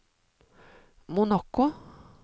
Monaco